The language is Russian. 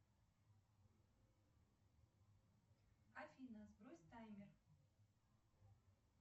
афина сбрось таймер